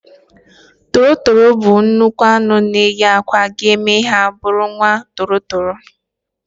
Toro toro bụ nnukwu nnụnụ na eyi akwa ga eme ha bụrụ nwa toro toro